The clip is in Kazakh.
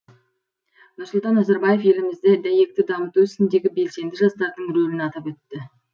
нұрсұлтан назарбаев елімізді дәйекті дамыту ісіндегі белсенді жастардың рөлін атап өтті